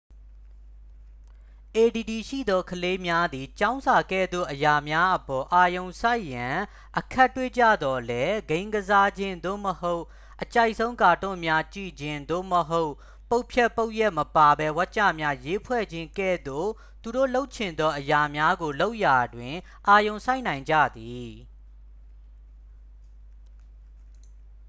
အေဒီဒီရှိသော ကလေးများသည် ကျောင်းစာကဲ့သို့ အရာများအပေါ် အာရုံစိုက်ရန် အခက်တွေ့ကြသော်လည်း ဂိမ်းကစားခြင်း သို့မဟုတ် အကြိုက်ဆုံး ကာတွန်းများ ကြည့်ခြင်း သို့မဟုတ် ပုဒ်ဖြတ်ပုဒ်ရပ်မပါဘဲ ဝါကျများ ရေးဖွဲ့ခြင်း ကဲ့သို့ သူတို့လုပ်ချင်သော အရာများကိုလုပ်ရာတွင် အာရုံစိုက်နိုင်ကြသည်